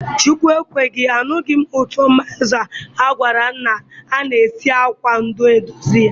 Chukwu ekweghi m, anughi m uto mayonezi, a gwaram na a na-esi akwa ndu edozi ya.